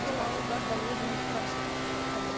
сол ауылдарда өзіңіз тұрасыз ба